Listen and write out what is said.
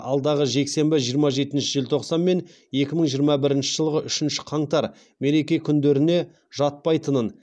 алдағы жексенбі жиырма жетінші желтоқсан мен екі мың жиырма бірінші жылғы үшінші қаңтар мереке күндеріне жатпайтынын